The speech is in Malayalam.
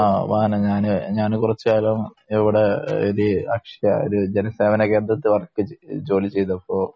ആ വാഹന ഞാന് ഞാൻ കുറച്ച് കാലം ഇവിടെ ലെ ഒരു അക്ഷയ ജന്യസേവനകേന്ദ്രത്തില് വർക്ക് ജോലി ചെയ്തപ്പോ